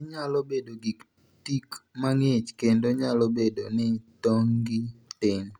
Ginyalo bedo gi tik mang'ich kendo nyalo bedo ni tong'gi tin.